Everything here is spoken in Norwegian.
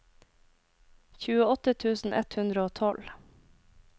tjueåtte tusen ett hundre og tolv